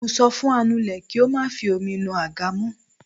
Mo sọ fún anule kí ó má fi omi nu àga mó.